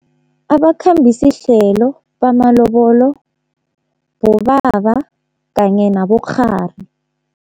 Abakhambisihlelo bamalobolo bobaba kanye nabokghari.